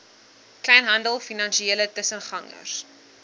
kleinhandel finansiële tussengangers